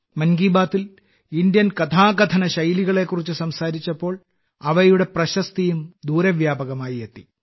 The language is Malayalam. മൻ കി ബാത്തിൽ ഇന്ത്യൻ കഥാകഥന ശൈലികളെക്കുറിച്ച് സംസാരിച്ചപ്പോൾ അവയുടെ പ്രശസ്തിയും ദൂരവ്യാപകമായി എത്തി